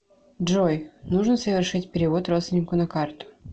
джой нужно совершить перевод родственнику на карту